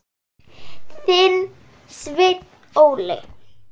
Þinn, Sveinn Óli.